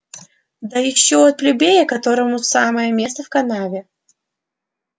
да ещё от плебея которому самое место в канаве